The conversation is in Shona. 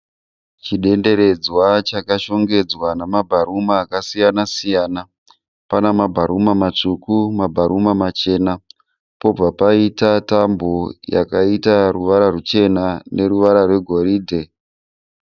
Chidenderedzwa chakashongedzwa namabharuna akasiyana siyana. Pana mabharuma matsvuku mabharuma machena pobva paita tambo yakaita ruvara rwuchena neruvara rwegoridhe.